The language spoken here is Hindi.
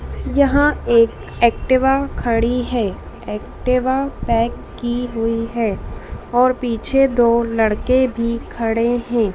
यहां एक एक्टिवा खड़ी है एक्टिवा पैक की हुई है और पीछे दो लड़के भी खड़े हैं।